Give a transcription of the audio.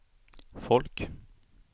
folk